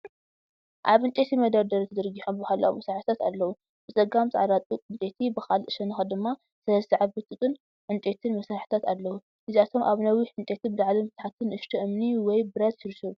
ኣብ ዕንጨይቲ መደርደሪ ተዘርጊሖም ባህላዊ መሳርሒታት ኣለዉ። ብጸጋም ጻዕዳ ጡጥ ዕንጸይቲ፡ ብኻልእ ሸነኽ ድማ ሰለስተ ዓበይቲ ጡጥን ዕንጨይትን መሳርሒታት ኣለዉ። እዚኣቶም ኣብ ነዊሕ ዕንጨይቲ ብላዕልን ብታሕትን ንእሽቶ እምኒ ወይ ብረት ይሽርሸሩ። .